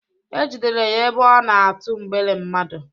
E jidere ya ebe ọ na-atụ mgbere mmadu